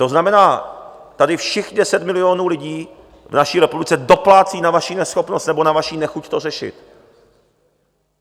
To znamená, tady všech 10 milionů lidí v naší republice doplácí na vaší neschopnost nebo na vaši nechuť to řešit.